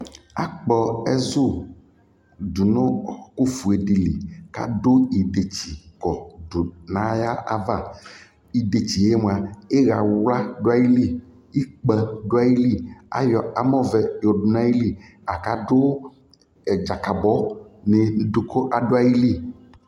akpɔ ɛzʋ dʋnʋ ɔkʋ ƒʋɛ dili kʋ adʋɛdɛkyi nʋayi aɣa, ɛdɛkyiɛ mʋa, iya wla dʋaili, ikpa dʋali, ayɔ amɔ vɛ yɔ dʋnʋ ayili kʋadʋ dzakabɔ niku adʋali